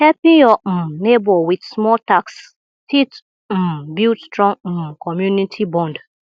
helping yur um neibor with small tasks fit um build strong um community bond